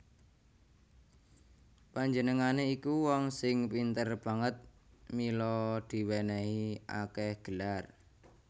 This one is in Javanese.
Panjenengané iku wong sing pinter banget mila diwènèhi akèh gelar